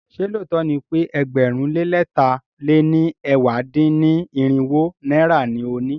Ṣé lóòtó ni pe ẹgbẹ̀rún lé lẹ̀ta lé ní ẹ̀wá dín-ní-irinwó náírà ni o ní?